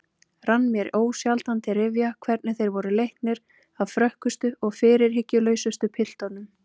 Rann mér ósjaldan til rifja hvernig þeir voru leiknir af frökkustu og fyrirhyggjulausustu piltunum.